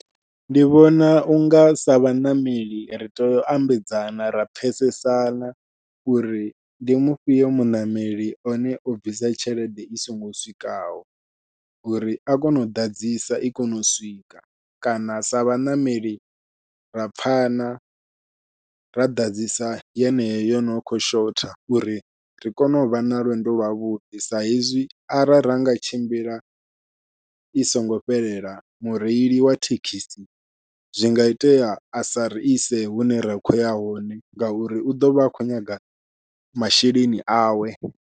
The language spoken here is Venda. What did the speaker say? Ndi vhona unga sa vhaṋameli ri tea u ambedzana ra pfhesesana uri ndi mufhio muṋameli one o bvisa tshelede i songo swikaho, uri a kone u ḓadzisa i kone u swika kana sa vhaṋameli ra pfhana ra ḓadzisa yeneyo yono khou shotha uri ri kone u vha na lwendo lwavhuḓi, sa hezwi arali ra nga tshimbila i singo fhelela mureili wa thekhisi zwi nga itea a sa ri ise hune ra khou ya hone ngauri u ḓovha a khou nyaga masheleni awe.